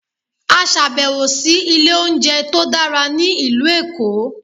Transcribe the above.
a ṣabẹwo si ile ounjẹ to dara ni ilu Eko